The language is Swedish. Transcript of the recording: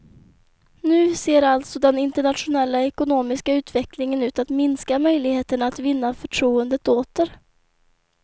Nu ser alltså den internationella ekonomiska utvecklingen ut att minska möjligheterna att vinna förtroendet åter.